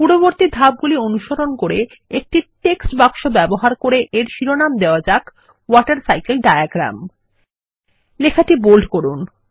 পূর্ববর্তী ধাপগুলিকে অনুসরণ করে একটি টেক্সট বাক্স ব্যবহার করে এর শিরোনাম দেওয়া যাক ওয়াটারসাইকেল ডায়াগ্রাম লেখাটি বোল্ড করুন